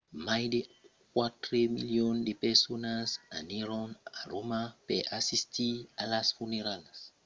mai de quatre milions de personas anèron a roma per assistir a las funeralhas